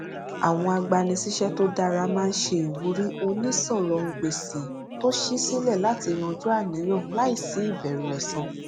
àwọn agbanisíṣẹ tó dára máa n ṣe ìwúrí onísọrọngbèsì tó ṣí sílẹ láti yanjú àníyàn láìsí ìbẹrù ẹsan